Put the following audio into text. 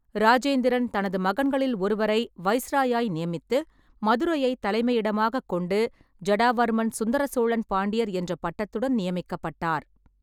இராஜேந்திரன் தனது மகன்களில் ஒருவரை வைசிராய் நியமித்து, மதுரையைத் தலைமையிடமாகக் கொண்டு ஜடாவர்மன் சுந்தர சோழன் பாண்டியர் என்ற பட்டத்துடன் நியமிக்கப்பட்டார்.